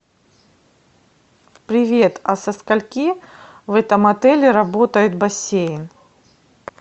привет а со скольки в этом отеле работает бассейн